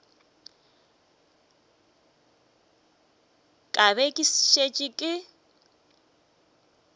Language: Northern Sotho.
ka be ke šetše ke